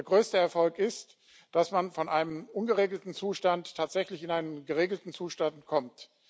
Der größte Erfolg ist, dass man von einem ungeregelten Zustand tatsächlich in einen geregelten Zustand kommt.